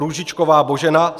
Růžičková Božena